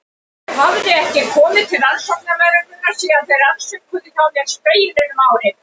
Ég hafði ekki komið til rannsóknarlögreglunnar síðan þeir rannsökuðu hjá mér Spegilinn um árið.